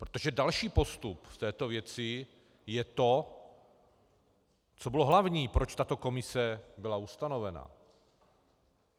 Protože další postup v této věci je to, co bylo hlavní, proč tato komise byla ustanovena.